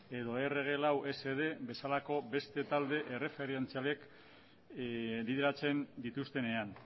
edo erre ge lau ese de bezalako beste talde errefentzialek bideratzen dituztenean